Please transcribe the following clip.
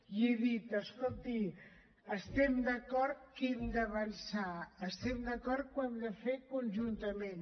i he dit escolti estem d’acord que hem d’avançar estem d’acord que ho hem de fer conjuntament